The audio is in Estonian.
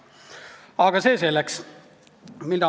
Aga see selleks.